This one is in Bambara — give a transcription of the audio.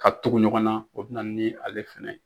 Ka tugu ɲɔgɔnna o bɛ na ni ale fɛnɛ ye.